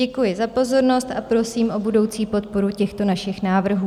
Děkuji za pozornost a prosím o budoucí podporu těchto našich návrhů.